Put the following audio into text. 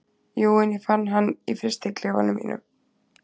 Jú, en ég fann hann í frystiklefanum mínum.